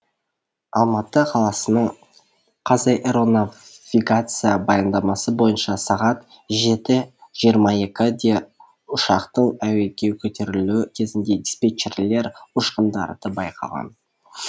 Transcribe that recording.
алматы қаласының қазаэронавигация баяндамасы бойынша сағат жеті жиырма екіде ұшақтың әуеге көтерілуі кезінде диспетчерлер ұшқындарды байқаған